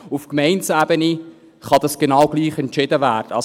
Auf Gemeindeebene kann dies genau gleich entschieden werden.